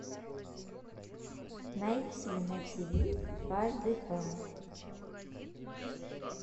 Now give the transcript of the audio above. найти на тв дважды два